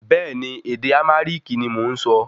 Bẹ́ẹ̀ni, ède Arámíkì ní mọ nsọ